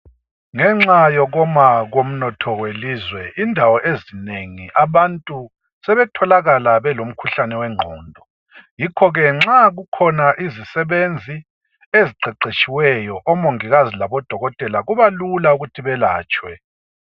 Ngenxa yokuma komnotho welizwe indawo ezinengi abantu sebetholakala belomkhuhlane wengqondo. Yikho ke nxa kukhona izisebenzi eziqeqetshiweyo omongikazi labodokotela kuba lula ukuthi belatshwe.